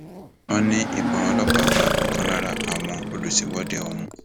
wọn ní ìbọn ọlọpàá bá ọkan lára àwọn olùṣèwọde ọhún